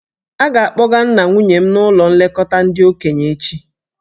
A ga-akpọga nna nwunye m n'ụlọ nlekọta ndị okenye echi.